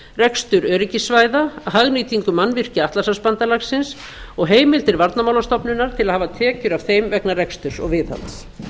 rekstur öryggissvæða hagnýtingu mannvirkja atlantshafsbandalagsins og heimildir varnarmálastofnunar til að hafa tekjur af þeim vegna reksturs og viðhalds